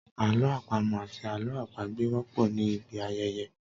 Àlọ́ àpamọ̀ àti Àlọ́ àpagbè wọ́pọ̀ ní ibi ayẹyẹ.